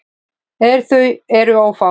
En þau eru ófá.